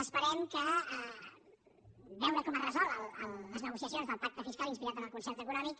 esperem veure com es resolen les negociacions del pacte fiscal inspirat en el concert econòmic